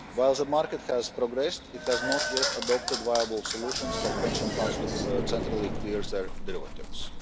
While the market has progressed, it has not yet adopted viable solutions for pension funds to centrally clear their derivatives.